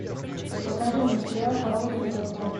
покажи мне сериал хорошая борьба